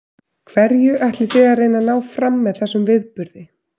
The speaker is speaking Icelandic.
Hverju ætlið þið að reyna að ná fram með þessum viðburði?